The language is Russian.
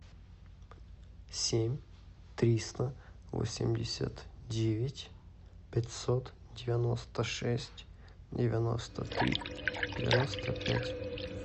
семь триста восемьдесят девять пятьсот девяносто шесть девяносто три девяносто пять